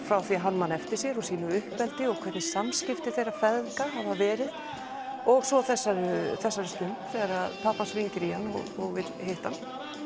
frá því hann man eftir sér úr sínu uppeldi og hvernig samskipti þeirra feðga hafa verið og svo þessari þessari stund þegar pabbi hans hringir í hann og vill hitta hann